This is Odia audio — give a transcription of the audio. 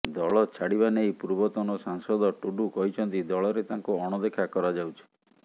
ଦଳ ଛାଡିବା ନେଇ ପୂର୍ବତନ ସାଂସଦ ଟୁଡୁ କହିଛନ୍ତି ଦଳରେ ତାଙ୍କୁ ଅଣଦେଖା କରାଯଉଛି